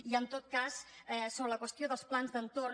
i en tot cas sobre la qüestió dels plans d’entorn